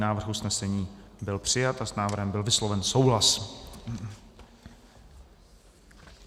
Návrh usnesení byl přijat a s návrhem byl vysloven souhlas.